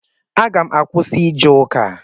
Aga m akwụsị ije ụka.